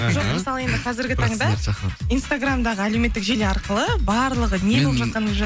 жоқ мысалы енді қазіргі таңда инстаграмдағы әлеуметтік желі арқылы барлығы не болып жатқанын